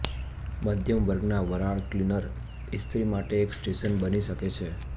મધ્યમ વર્ગના વરાળ ક્લીનર ઇસ્ત્રી માટે એક સ્ટેશન બની શકે છે